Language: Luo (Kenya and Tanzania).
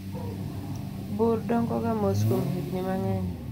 bur dongoga mos kuom higni mang'eny